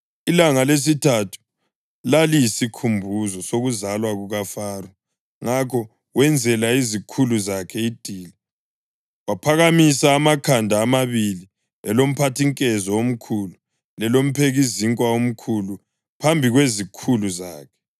Ilanga lesithathu laliyisikhumbuzo sokuzalwa kukaFaro, ngakho wenzela izikhulu zakhe idili. Waphakamisa amakhanda amabili, elomphathinkezo omkhulu lelomphekizinkwa omkhulu phambi kwezikhulu zakhe: